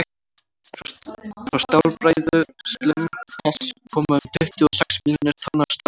frá stálbræðslum þess koma um tuttugu og sex milljónir tonna af stáli árlega